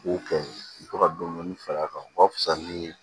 U b'o kɛ u bɛ to ka dɔni dɔni f'a ka wusa nii